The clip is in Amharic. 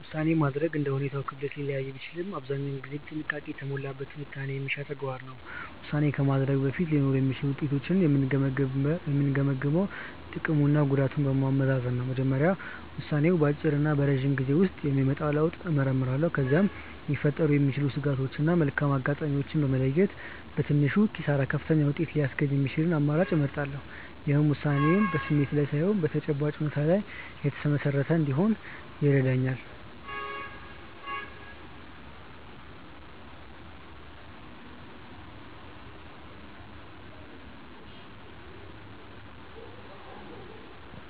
ውሳኔ ማድረግ እንደ ሁኔታው ክብደት ሊለያይ ቢችልም አብዛኛውን ጊዜ ጥንቃቄ የተሞላበት ትንታኔ የሚሻ ተግባር ነው። ውሳኔ ከማድረጌ በፊት ሊኖሩ የሚችሉትን ውጤቶች የምገመግመው ጥቅምና ጉዳቱን በማመዛዘን ነው። በመጀመሪያ ውሳኔው በአጭርና በረጅም ጊዜ ውስጥ የሚያመጣውን ለውጥ እመረምራለሁ። ከዚያም ሊፈጠሩ የሚችሉ ስጋቶችን እና መልካም አጋጣሚዎችን በመለየት፣ በትንሹ ኪሳራ ከፍተኛውን ውጤት ሊያስገኝ የሚችለውን አማራጭ እመርጣለሁ። ይህም ውሳኔዬ በስሜት ላይ ሳይሆን በተጨባጭ እውነታዎች ላይ የተመሰረተ እንዲሆን ይረዳኛል።